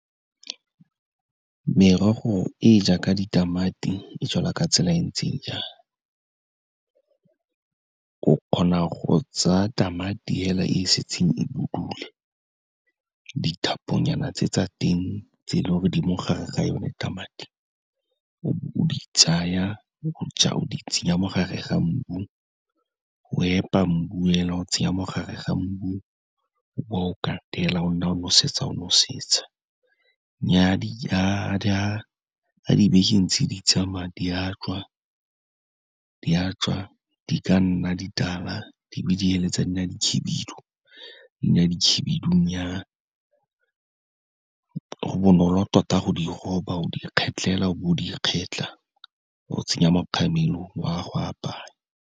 Merogo e jaaka ditamati e jalwa ka tsela e ntseng jang? O kgona go tsa tamati fela e setseng e budule, dithaponyana tse tsa teng tse e leng gore di mo gare ga yone tamati, o be o di tsaya, o di tsenya mo gare ga mbu, o epa mbu fela o tsenya mo gare ga mbu, o bowa o katela, o nna o nosetsa o nosetsa. Nnyaa fa dibeke ntse di tsamaya, di a tswa di ka nna ditala, di be di feleletsa di nna dikhibidu, di nna dikhibidu go bonolo tota go di roba, o di kgetlha fela, o bo o di kgetlha, o tsenya mo kgamelong, o ya go apaya.